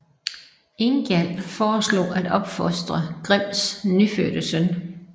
Ingjald foreslog at opfostre Grims nyfødte søn